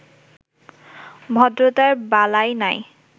ভদ্রতার বালাই নাই।